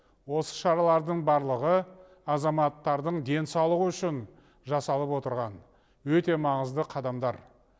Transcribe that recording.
осы шаралардың барлығы азаматтардың денсаулығы үшін жасалып отырған өте маңызды қадамдар